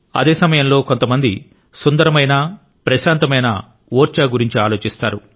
అదే సమయంలో కొంతమంది సుందరమైన ప్రశాంతమైన ఓర్చా గురించి ఆలోచిస్తారు